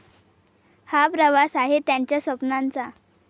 हा प्रवास आहे त्यांच्या स्वप्नांचा.